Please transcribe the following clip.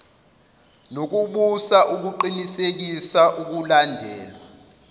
nokubusa ukuqinisekisa ukulandelwa